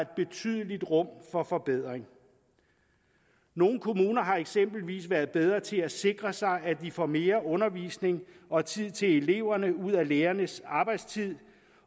betydeligt rum for forbedring nogle kommuner har eksempelvis været bedre til at sikre sig at de får mere undervisning og tid til eleverne ud af lærernes arbejdstid